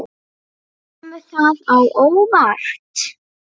Kemur það á óvart?